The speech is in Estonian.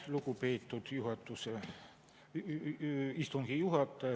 Lugupeetud istungi juhataja!